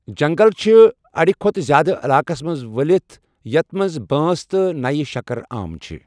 جَنٛگَل چِھِ اَڈِ کھۄتہٕ زِیادٕ عَلاقس منٛز ولِتھ ، ییٛتھ مَنٛز بانٛس تہٕ نیہ شَکرعام چِھ ۔